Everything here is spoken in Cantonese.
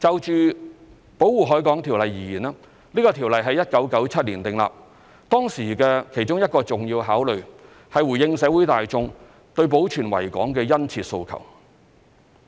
就《條例》而言，這項條例於1997年訂立。當時的其中一個重要考慮，是回應社會大眾對保存維港的殷切訴求。